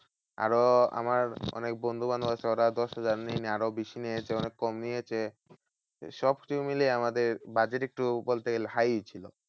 আরো আমার অনেক বন্ধু বান্ধব আছে ওরা দশহাজার নেয়নি আরো বেশি নিয়েছে অনেক কম নিয়েছে। সবকিছু মিলিয়ে আমাদের budget একটু বলতে গেলে high ছিল।